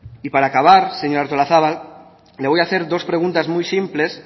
para acabar señora artolazabal le voy a hacer dos preguntas muy simples